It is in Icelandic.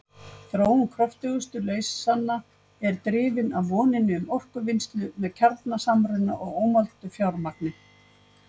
Þróun kröftugustu leysanna er drifin af voninni um orkuvinnslu með kjarnasamruna og ómældu fjármagni.